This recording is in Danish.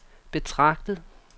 betragtet